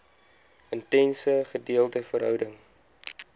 intense gedeelde verhouding